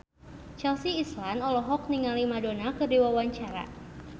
Chelsea Islan olohok ningali Madonna keur diwawancara